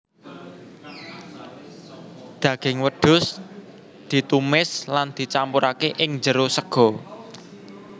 Daging wedhus ditumis lan dicampurake ing jero sega